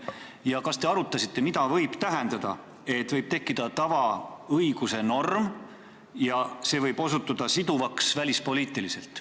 Ja kas te arutasite, mida võib tähendada see, et võib tekkida tavaõiguse norm, mis võib välispoliitiliselt siduvaks osutuda?